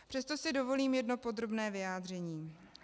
Přesto si dovolím jedno podrobné vyjádření.